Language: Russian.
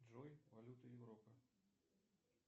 джой валюта европы